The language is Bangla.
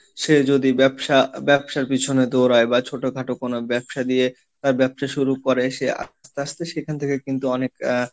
সে যদি ব্যবসা, ব্যবসার পিছনে দৌড়ায় বা ছোটোখাটো কোনো ব্যবসা দিয়ে তার ব্যবসা শুরু করে সে আস্তে আস্তে সেখান থেকে কিন্তু অনেকটা,